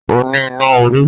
O ní iná orí